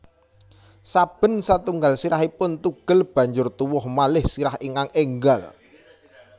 Saben satunggal sirahipun tugel banjur tuwuh malih sirah ingkang énggal